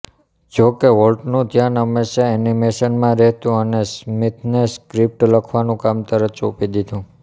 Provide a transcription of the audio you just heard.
જો કે વોલ્ટનું ધ્યાન હંમેશા એનિમેશનમાં રહેતું અને સ્મિથને સ્ક્રિપ્ટ લખવાનું કામ તરત સોંપી દીધું